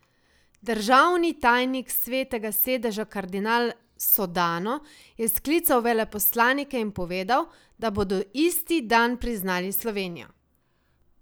Državni tajnik Svetega sedeža kardinal Sodano je sklical veleposlanike in povedal, da bodo isti dan priznali Slovenijo.